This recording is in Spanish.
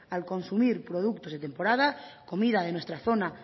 al consumir productos de temporada comida de nuestra zona